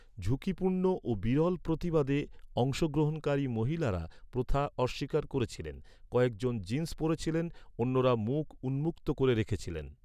ঝুঁকিপূর্ণ ও বিরল প্রতিবাদে, অংশগ্রহণকারী মহিলারা প্রথা অস্বীকার করেছিলেন; কয়েকজন জিন্স পরেছিলেন, অন্যরা মুখ উন্মুক্ত করে রেখেছিলেন।